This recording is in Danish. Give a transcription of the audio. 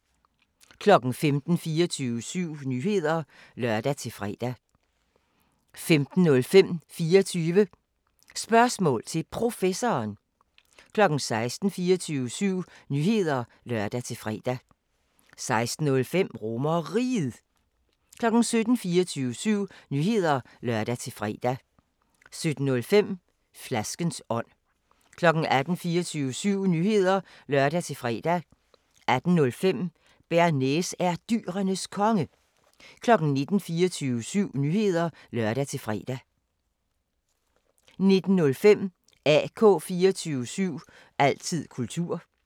15:00: 24syv Nyheder (lør-fre) 15:05: 24 Spørgsmål til Professoren 16:00: 24syv Nyheder (lør-fre) 16:05: RomerRiget 17:00: 24syv Nyheder (lør-fre) 17:05: Flaskens ånd 18:00: 24syv Nyheder (lør-fre) 18:05: Bearnaise er Dyrenes Konge 19:00: 24syv Nyheder (lør-fre) 19:05: AK 24syv – altid kultur